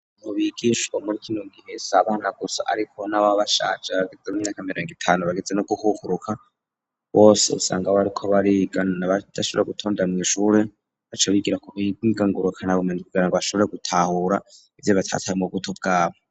Abantu bigishwa muri kino gihe s'abana gusa, ariko n'ababa bashaje bageza mu myaka mirongo itanu bageze no gukukuruka bose usanga bariko bariga, na badashobora gutonda mw'ishure baca bigira ku buhinga ngurukana bumenyi kugira ngo bashobore gutahura ivyo batatahuye mu buto bwabo.